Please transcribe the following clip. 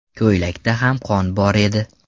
Ko‘ylakda ham qon bor edi.